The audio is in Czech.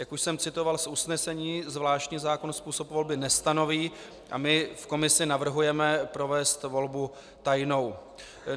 Jak už jsem citoval z usnesení, zvláštní zákon způsob volby nestanoví a my v komisi navrhujeme provést volbu tajnou.